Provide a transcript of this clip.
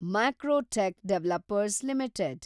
Macrotech developers limited